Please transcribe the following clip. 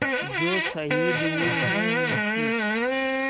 जो शहीद हुए हैं उनकी